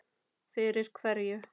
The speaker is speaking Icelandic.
Fyrir hverju?